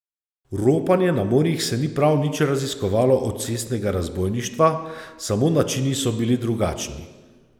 Ropanje na morjih se ni prav nič razlikovalo od cestnega razbojništva, samo načini so bili drugačni.